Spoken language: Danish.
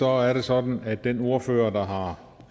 er det sådan at den ordfører